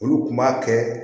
Olu kun b'a kɛ